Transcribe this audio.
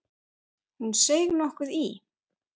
Hún seig nokkuð í.